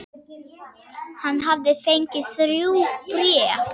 Hann hafði fengið þrjú bréf.